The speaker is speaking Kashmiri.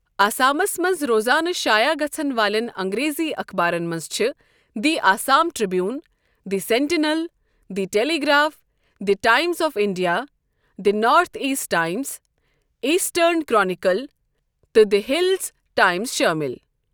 آسامس منٛز روزانہٕ شایع گَژھن والٮ۪ن انٛگریٖزۍ اخبارن منٛز چھِ the Assam Tribune, the Sentinel, the Telegraph, the Times of India, the North East Times, Eastern Chronicle تہٕ دی ہِلز ٹایمز شٲمِل۔